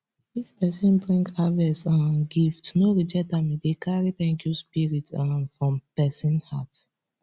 if person bring harvest um gift no reject am e dey carry thankyou spirit um from person heart